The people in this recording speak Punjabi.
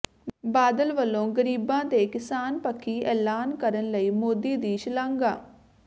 ਬਾਦਲ ਵੱਲੋਂ ਗ਼ਰੀਬਾਂ ਤੇ ਕਿਸਾਨ ਪੱਖੀ ਐਲਾਨ ਕਰਨ ਲਈ ਮੋਦੀ ਦੀ ਸ਼ਲਾਘਾ